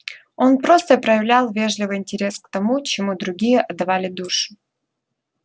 он просто проявлял вежливый интерес к тому чему другие отдавали душу